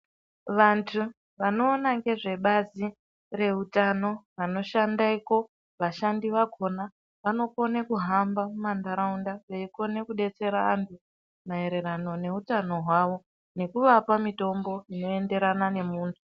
Vantu vanoona ngezvebazi reutano, vanoshandako vashandi vakhona vanokona kuhamba mumanharaunda veikone kubetsera vantu maererano neutano hwavo. Nekuvapa mitombo unoenderana ngemuntu.